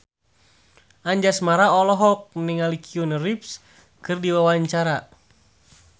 Anjasmara olohok ningali Keanu Reeves keur diwawancara